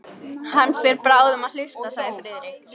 Hann fer bráðum að hausta sagði Friðrik.